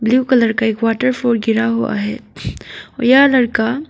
Blue colour का एक waterfall गिरा हुआ है और यह लड़का।